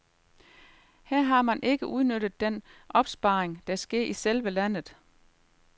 Her har man ikke udnyttet den opsparing, der sker i selve landet.